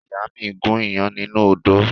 Ìyá mi gún iyán nínú odó.